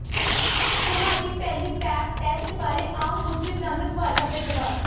ਤੁਹਾਡੀ ਪਹਿਲੀ Pap test ਬਾਰੇ ਆਮ ਪੁੱਛੇ ਜਾਂਦੇ ਸਵਾਲਾਂ ਦੇ ਜਵਾਬ